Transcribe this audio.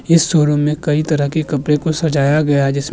इस शोरूम में कई तरह के कपड़े को सजाया गया है जैसे --